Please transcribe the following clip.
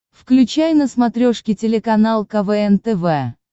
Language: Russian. включай на смотрешке телеканал квн тв